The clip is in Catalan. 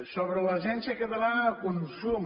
sobre l’agència catalana de consum